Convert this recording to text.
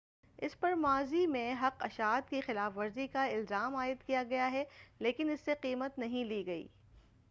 اس پر ماضی میں حق اشاعت کی خلاف ورزی کا الزام عائد کیا گیا ہے لیکن اس سے قیمت نہیں لی گئی